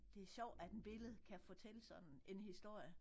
Det er sjovt at en billede kan fortælle sådan en historie